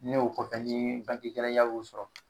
Ne o kɔfɛ nii bange gɛlɛya y'u sɔrɔ